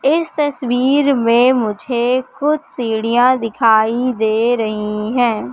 इस तस्वीर में मुझे कुछ सीढियां दिखाई दे रही है।